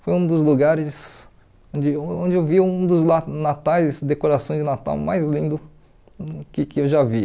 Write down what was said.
Foi um dos lugares onde onde eu vi um dos na natais decorações de Natal mais lindo que que eu já vi.